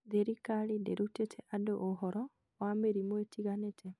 thirikari ndĩrutĩte andũ ũhoro wa mĩrimũ ĩtiganĩte